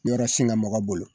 Yɔrɔ sinka mɔgɔ bolo